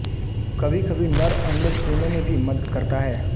कभीकभी नर अंडे सेने में भी मदद करता है